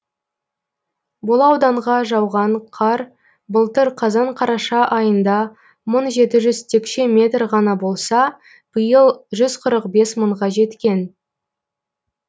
бұл ауданға жауған қар былтыр қазан қараша айында мың жеті жүз текше метр ғана болса биыл жүз қырық бес мыңға жеткен